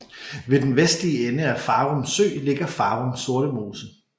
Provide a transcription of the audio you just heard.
Ved den vestlige ende af Farum Sø ligger Farum Sortemose